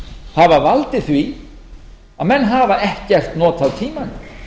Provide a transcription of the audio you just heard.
hafa valdið því að menn hafa ekkert notað tímann